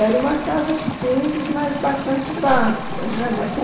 Era uma casa simples, mas bastante vasta né